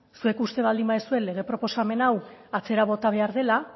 zuek uste baldin baduzue lege proposamen hau atzera bota behar dela